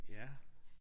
Ja